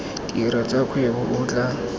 tiro tsa kgwebo o tla